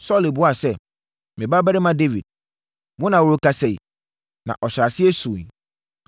Saulo buaa sɛ, “Me babarima Dawid, wo na worekasa yi?” Na ɔhyɛɛ aseɛ suiɛ.